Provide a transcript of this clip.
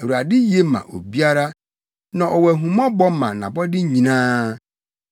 Awurade ye ma obiara; na ɔwɔ ahummɔbɔ ma nʼabɔde nyinaa.